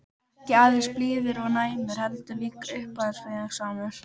Ekki aðeins blíður og næmur- heldur líka uppáfinningasamur.